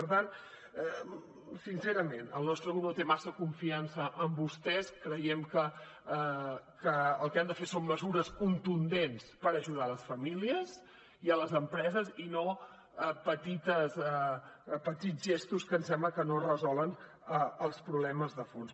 per tant sincerament el nostre grup no té massa confiança en vostès creiem que el que han de fer són mesures contundents per ajudar les famílies i les empreses i no petits gestos que ens sembla que no resolen els problemes de fons